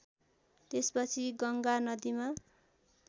त्यसपछि गङ्गा नदिमा